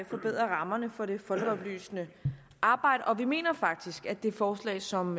forbedrer rammerne for det folkeoplysende arbejde og vi mener faktisk at det forslag som